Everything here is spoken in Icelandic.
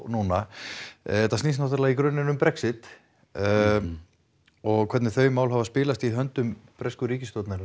núna þetta snýst í grunninn um Brexit og hvernig þau mál hafa spilast í höndum bresku ríkisstjórnarinnar